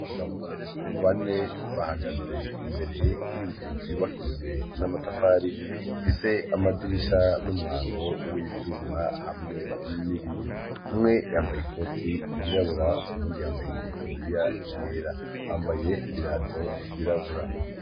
abagabo bane bahagaze imbere y'inzu yubakijwe n'amatafari ifise amadirisha n'umwango w'ivyuma hamwe n'ibiyo umwe yambaye ikoti yirabura ibundi yambaye itaburiya yera bambaye ibirato vyirabura